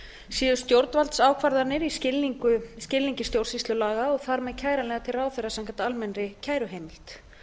séu stjórnvaldsákvarðanir í skilningi stjórnsýslulaga og þar með kæranlegar til ráðherra samkvæmt almennri kæruheimild